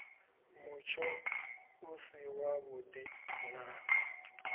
mutsho u si wavhuḓi na